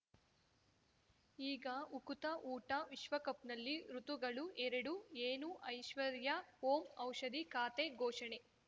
ಈಗ ಉಕುತ ಊಟ ವಿಶ್ವಕಪ್‌ನಲ್ಲಿ ಋತುಗಳು ಎರಡು ಏನು ಐಶ್ವರ್ಯಾ ಓಂ ಔಷಧಿ ಖಾತೆ ಘೋಷಣೆ